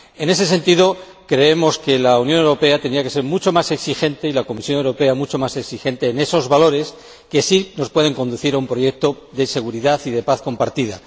En ese sentido, creemos que la Unión Europea tendría que ser mucho más exigente, y la Comisión Europea mucho más exigente, en cuanto a esos valores que sí nos pueden conducir a un proyecto de seguridad y de paz compartida.